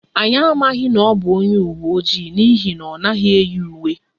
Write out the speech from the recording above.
Anyị amaghị na ọ bụ onye uwe ojii n'ihi na ọ naghị eyi uwe